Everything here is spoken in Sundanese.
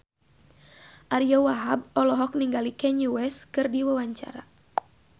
Ariyo Wahab olohok ningali Kanye West keur diwawancara